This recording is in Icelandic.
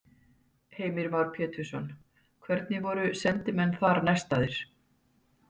Heimir Már Pétursson: Hvernig voru sendimenn þar nestaðir?